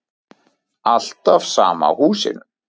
Alltaf sama húsinu.